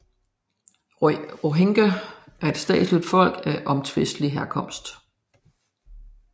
Rohingya er et statsløst folk af omtvistet herkomst